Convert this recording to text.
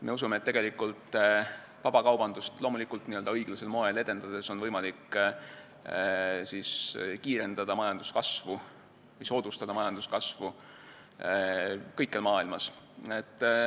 Me usume, et vabakaubandust õiglasel moel edendades on võimalik kiirendada või soodustada majanduskasvu kõikjal maailmas.